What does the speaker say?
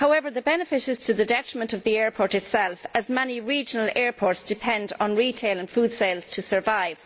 However, the benefit is to the detriment of the airport itself as many regional airports depend on retail and food sales to survive.